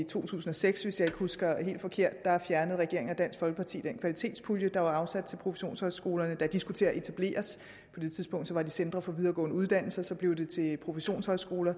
to tusind og seks hvis jeg ikke husker helt forkert fjernede regeringen og dansk folkeparti den kvalitetspulje der var afsat til professionshøjskolerne da de skulle til at etableres på det tidspunkt var de centre for videregående uddannelser så blev de til professionshøjskoler